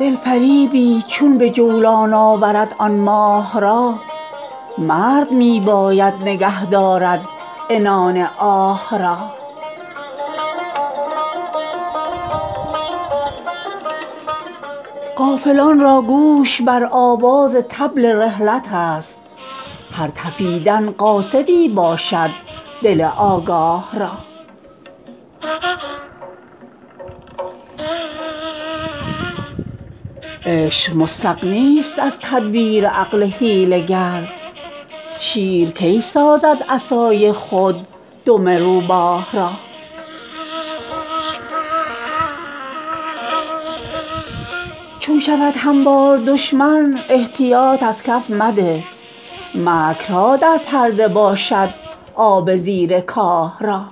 دلفریبی چون به جولان آورد آن ماه را مرد می باید نگه دارد عنان آه را غافلان را گوش بر آواز طبل رحلت است هر تپیدن قاصدی باشد دل آگاه را عشق مستغنی است از تدبیر عقل حیله گر شیر کی سازد عصای خود دم روباه را چون شود هموار دشمن احتیاط از کف مده مکرها در پرده باشد آب زیر کاه را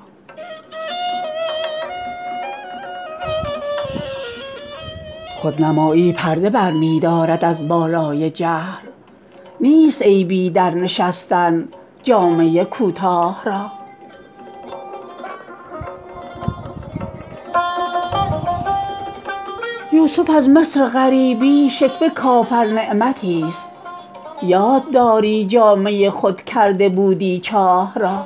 خودنمایی پرده برمی دارد از بالای جهل نیست عیبی در نشستن جامه کوتاه را یوسف از مصر غریبی شکوه کافر نعمتی است یادداری جامه خود کرده بودی چاه را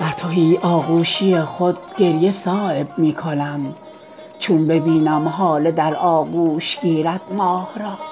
بر تهی آغوشی خود گریه صایب می کنم چون ببینم هاله در آغوش گیرد ماه را